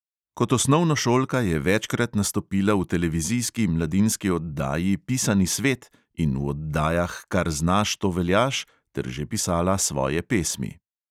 Kot osnovnošolka je večkrat nastopila v televizijski mladinski oddaji pisani svet in v oddajah kar znaš, to veljaš ter že pisala svoje pesmi.